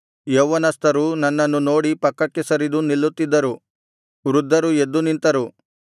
ಯೌವನಸ್ಥರು ನನ್ನನ್ನು ನೋಡಿ ಪಕ್ಕಕ್ಕೆ ಸರಿದು ನಿಲ್ಲುತ್ತಿದ್ದರು ವೃದ್ಧರು ಎದ್ದು ನಿಂತರು